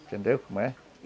Entendeu como é?